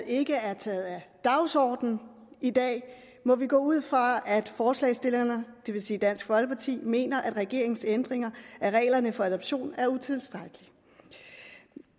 ikke er taget af dagsordenen i dag må vi gå ud fra at forslagsstillerne det vil sige dansk folkeparti mener at regeringens ændringer af reglerne for adoption er utilstrækkelige